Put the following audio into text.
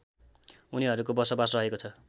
उनीहरूको बसोबास रहेको छ